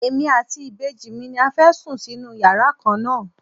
Èmi àti ìbejì mi ni a fẹ́ sùn sínú yàrá kan náà.